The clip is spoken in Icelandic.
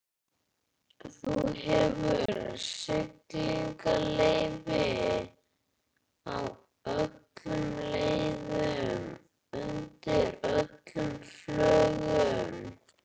Þú hefur siglingaleyfi á öllum leiðum, undir öllum flöggum.